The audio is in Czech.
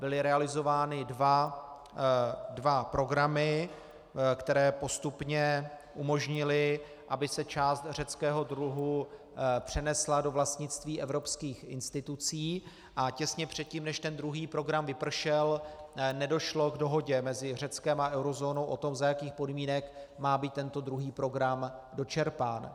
Byly realizovány dva programy, které postupně umožnily, aby se část řeckého dluhu přenesla do vlastnictví evropských institucí, a těsně předtím, než ten druhý program vypršel, nedošlo k dohodě mezi Řeckem a eurozónou o tom, za jakých podmínek má být tento druhý program dočerpán.